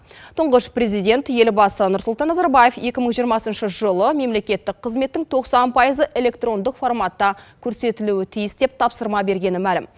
тұңғыш президент елбасы нұрсұлтан назарбаев екі мың жиырмасыншы жылы мемлекеттік қызметтің тоқсан пайызы электрондық форматта көрсетілуі тиіс деп тапсырма бергені мәлім